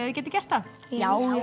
þið getið gert það já